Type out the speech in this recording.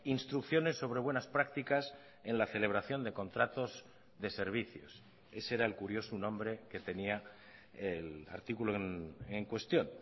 instrucciones sobre buenas prácticas en la celebración de contratos de servicios ese era el curioso nombre que tenía el artículo en cuestión